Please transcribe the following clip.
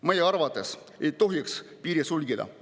Meie arvates ei tohiks piiri sulgeda.